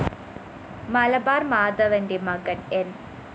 മലബാര്‍ മാധവന്റെ മകന്‍ ന്‌